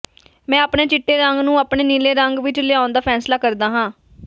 ਮੈਂ ਆਪਣੇ ਚਿੱਟੇ ਰੰਗ ਨੂੰ ਆਪਣੇ ਨੀਲੇ ਰੰਗ ਵਿਚ ਲਿਆਉਣ ਦਾ ਫੈਸਲਾ ਕਰਦਾ ਹਾਂ